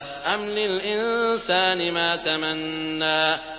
أَمْ لِلْإِنسَانِ مَا تَمَنَّىٰ